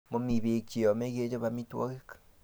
Mami pek che yome kechop amitwogik